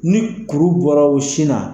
Ni kuru bɔra u sin na